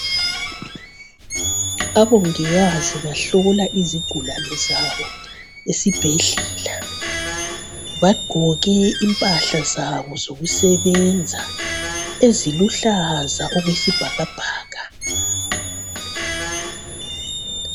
Abongikazi bahlola izigulane zabo esibhedlela. Bagqoke impahla zabo zokusebenza eziluhlaza okwesibhakabhaka.